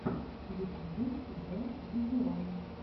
в ютубе зэ дезерон